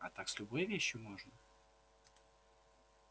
а так с любой вещью можно